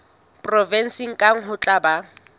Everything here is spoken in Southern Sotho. provenseng kang ho tla ba